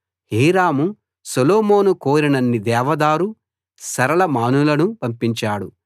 Hiram Solomon కోరినన్ని దేవదారు సరళ మానులను పంపించాడు